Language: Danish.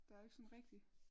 Der er jo ikke sådan rigtig